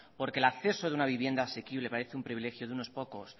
porque el acceso de una vivienda asequible parece un privilegio de unos pocos